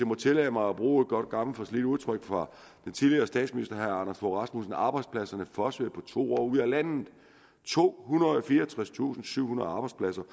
må tillade mig bruge et godt gammelt forslidt udtryk fra den tidligere statsminister herre anders fogh rasmussen arbejdspladserne fossede på to år ud af landet tohundrede og fireogtredstusindsyvhundrede arbejdspladser